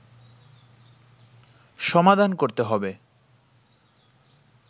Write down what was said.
সমাধান করতে হবে